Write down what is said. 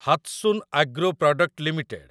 Hatsun agro product limited